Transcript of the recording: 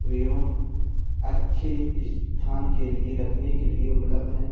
एवं अच्‍छे स्‍थान के लिए रखने के लिए उपलब्‍ध हैं ।